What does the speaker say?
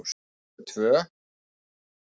Fyrir okkur tvö.